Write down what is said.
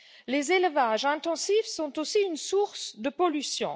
Les élevages intensifs sont aussi une source de pollution.